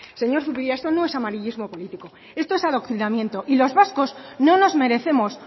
señor zubiria esto no es amarillismo político esto es adoctrinamiento y los vascos no nos merecemos